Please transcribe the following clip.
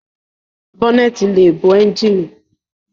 Bọ́nẹ̀ẹ̀tì ló bo ẹ́njíìnì.